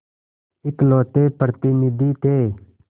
इकलौते प्रतिनिधि थे